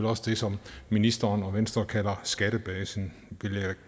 også det som ministeren og venstre kalder skattebasen